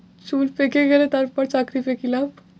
চুল পেকে গেলে তারপর চাকরি পেয়ে কি লাভ?